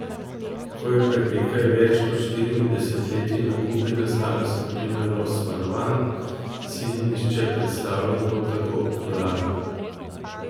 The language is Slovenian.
Ko je pred nekaj več kot štirimi desetletji na Kubi nastala skupina Los Van Van, si ni nihče predstavljal, da bo tako popularna.